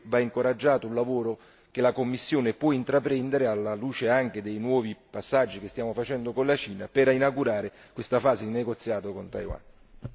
In questo senso credo che vada incoraggiato il lavoro che la Commissione può intraprendere alla luce anche dei nuovi passaggi che stiamo facendo con la Cina per inaugurare questa fase di negoziato con Taiwan.